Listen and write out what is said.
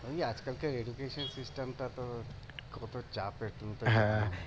ওই আজ-কালকার টা তো কত চাপের তুমি তো